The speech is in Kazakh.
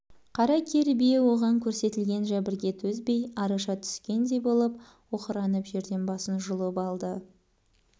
қара кер бие оған көрсетілген жәбірге төзбей араша түскеңдей болып оқыранып жерден басын жұлып алды